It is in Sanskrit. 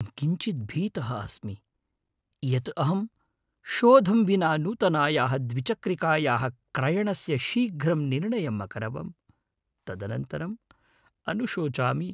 अहं किञ्चिद् भीतः अस्मि यत् अहं शोधं विना नूतनायाः द्विचक्रिकायाः क्रयणस्य शीघ्रं निर्णयम् अकरवम्। तदनन्तरम् अनुशोचामि।